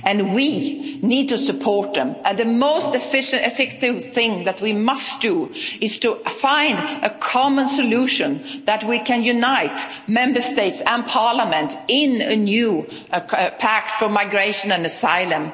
crisis. We need to support them and the most effective thing that we must do is to find a common solution that can unite Member States and Parliament in a new pact for migration and